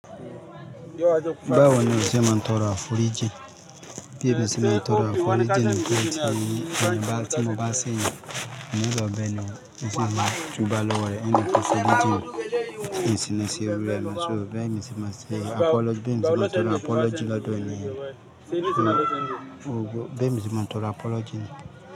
Báwo ni o ṣe máa ń tọrọ aforiji? Bí èmi ṣe máa ń tọrọ afuró jẹ ni pé tí mo bá ṣẹ èèyàn, mo nílò ọbẹ̀ ni ẹṣin máa túbalọ wọlé, ó ní kí n ṣe bíi ìjì ẹṣin ni ṣe rírà, ṣùgbọ́n bí èmi ṣe máa ṣe apology, bí èmi ṣe máa tọrọ apology lọ́dọ̀ ènìyàn ni, bí èmi ṣe máa ń tọrọ apology ni.